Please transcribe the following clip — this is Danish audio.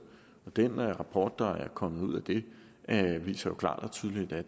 den rapport der er kommet ud af det viser klart og tydeligt at